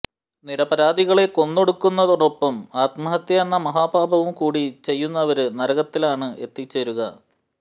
നിരപരാധികളെ കൊന്നൊടുക്കുന്നതോടൊപ്പം ആത്മഹത്യ എന്ന മഹാപാപവും കൂടി ചെയ്യുന്നവര് നരകത്തിലാണ് എത്തിച്ചേരുക